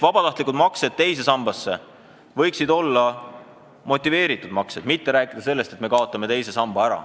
Vabatahtlikud maksed teise sambasse võiksid olla motiveeritud maksed, mitte ei tuleks rääkida, et me kaotame teise samba ära.